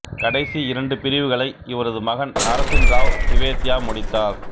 கடைசி இரண்டு பிரிவுகளை இவரது மகன் நரசின்ராவ் திவேதியா முடித்தார்